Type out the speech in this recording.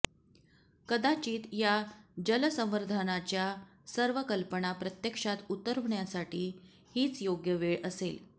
कदाचित या जलसंवर्धनाच्या सर्व कल्पना प्रत्यक्षात उतरवण्यासाठी हीच योग्य वेळ असेल